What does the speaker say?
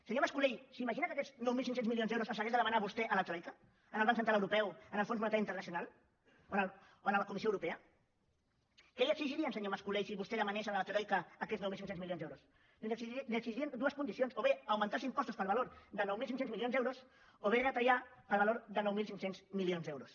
senyor mas colell s’imagina que aquests nou mil cinc cents milions d’euros els hagués de demanar vostè a la troica al banc central europeu al fons monetari internacional o a la comissió europea què li exigirien senyor mas colell si vostè demanés a la troica aquests nou mil cinc cents milions d’euros doncs li exigirien dues condicions o bé augmentar els impostos per valor de nou mil cinc cents milions d’euros o bé retallar per valor de nou mil cinc cents milions d’euros